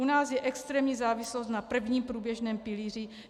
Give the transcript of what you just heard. U nás je extrémní závislost na prvním průběžném pilíři.